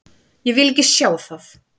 Ég vil ekki sjá það.